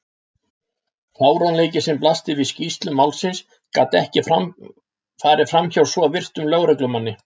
Fáránleikinn sem blasti við í skýrslum málsins gat ekki farið framhjá svo virtum lögreglumanni.